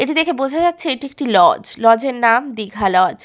এটি দেখে বোঝা যাচ্ছে এটি একটি লজ । লজ -এর নাম দীঘা লজ ।